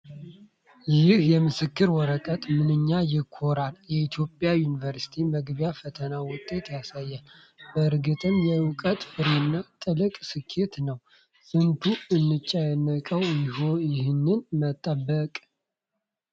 ይህ የምስክር ወረቀት ምንኛ ያኮራል! የኢትዮጵያ ዩኒቨርሲቲ መግቢያ ፈተና ውጤትን ያሳያል፤ በእርግጥም የእውቀት ፍሬና ትልቅ ስኬት ነው! ስንቱን አስጨነቀው ይህን በመጠበቅ!